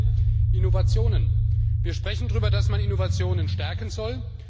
Das zweite Innovationen Wir sprechen darüber, dass man Innovationen stärken soll.